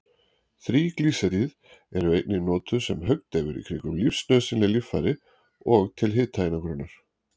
Þríglýseríð eru einnig notuð sem höggdeyfir í kringum lífsnauðsynleg líffæri og til hitaeinangrunar.